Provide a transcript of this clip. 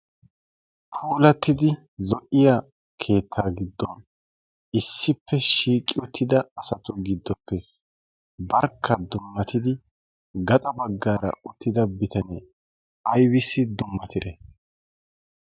puulattidi zo77iya keettaa giddon issippe shiiqi uttida asatu giddoppe barkka dummatidi gaxa baggaara uttida bitanee ibissi dummatire?